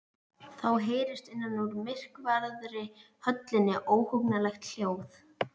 Þá heyrist innan úr myrkvaðri höllinni óhugnanlegt hljóð.